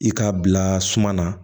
I k'a bila suma na